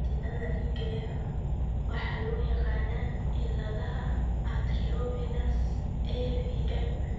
Xididdada dhiigga ee xun waxaa loo yaqaannaa cilladaha arteriovenous (AVM).